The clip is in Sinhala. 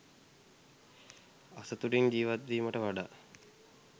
අසතුටින් ජීවත් වීමට වඩා